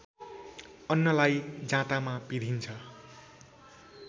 अन्नलाई जाँतामा पिंधिन्छ।